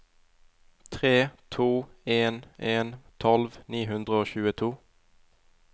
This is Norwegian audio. tre to en en tolv ni hundre og tjueto